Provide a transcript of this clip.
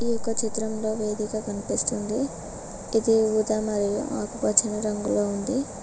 ఈ యొక్క చిత్రంలో వేదిక కనిపిస్తుంది ఇది ఉదా మరియు ఆకుపచ్చని రంగులో ఉంది